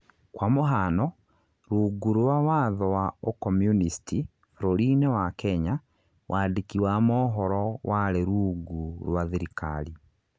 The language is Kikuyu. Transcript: kwa mũhano, rũngũ rwa watho wa ukomunisti bũrũri-nĩ wa Kenya, wandiki wa mohoro warĩ rũngũ rwa thirikari